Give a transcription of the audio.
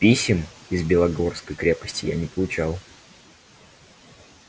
писем из белогорской крепости я не получал